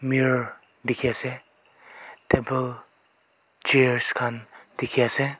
mirror delkhi ase table chairs khan dekhi ase.